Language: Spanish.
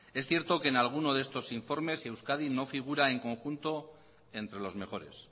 es cierto que en alguno de estos informes euskadi no figura en conjunto entre los mejores